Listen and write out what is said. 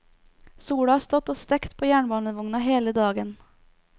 Sola har stått og stekt på jernbanevogna hele dagen.